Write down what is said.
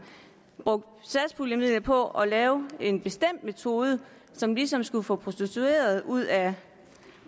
brugt satspuljemidler på at lave en bestemt metode som ligesom skulle få prostituerede ud af